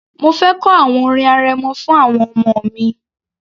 Mo fẹ kọ àwọn orin arẹmọ fún àwọn ọmọ mi